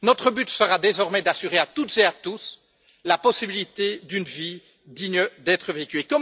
Notre but sera désormais d'assurer à toutes et à tous la possibilité d'une vie digne d'être vécue.